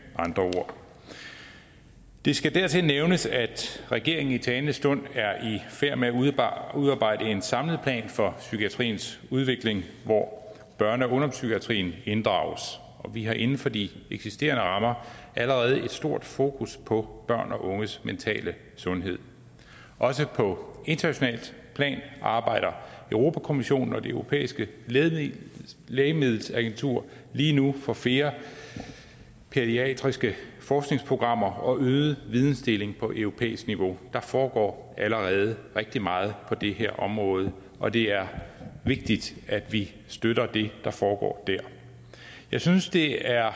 andre ord det skal dertil nævnes at regeringen i talende stund er i færd med at udarbejde en samlet plan for psykiatriens udvikling hvor børne og ungdomspsykiatrien inddrages og vi har inden for de eksisterende rammer allerede et stort fokus på børn og unges mentale sundhed også på internationalt plan arbejder europa kommissionen og det europæiske lægemiddelagentur lige nu for flere pædiatriske forskningsprogrammer og øget vidensdeling på europæisk niveau der foregår allerede rigtig meget på det her område og det er vigtigt at vi støtter det der foregår der jeg synes det er